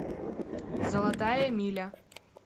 золотая миля